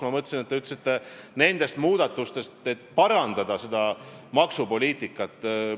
Ma mõtlesin, et te ütlesite "need muudatused, et seda maksupoliitikat parandada".